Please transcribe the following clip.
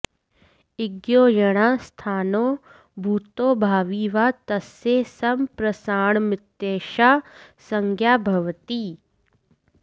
इग्यो यणः स्थाने भूतो भावी वा तस्य सम्प्रसारणमित्येषा संज्ञा भवति